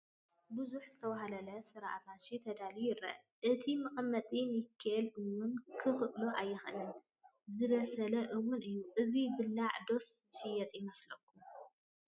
ብዙሕ ዝተዋህለለ ፍረ ኣራንሺ ተዳለዩ ይረአ፡፡ እቲ መቐመጢ ኒኬል እውን ክኽእሎ ኣይካኣለን፡፡ ዝበሰለ እውን እዩ፡፡ እዚ ዝብላዕ ዶስ ዝሽየጥ ይመስለኩም?